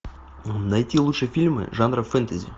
найти лучшие фильмы жанра фэнтези